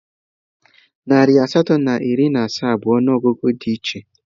Narị asatọ na iri na asaa bụ ọnụọgụgụ dị iche.